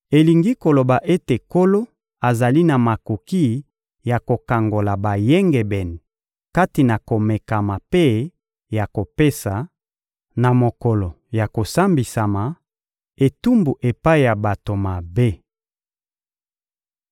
elingi koloba ete Nkolo azali na makoki ya kokangola bayengebene kati na komekama mpe ya kopesa, na mokolo ya kosambisama, etumbu epai ya bato mabe.